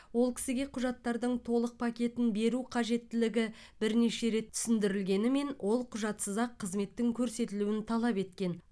ол кісіге құжаттардың толық пакетін беру қажеттілігі бірнеше рет түсіндірілгенімен ол құжатсыз ақ қызметтің көрсетілуін талап еткен